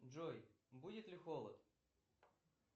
джой будет ли холод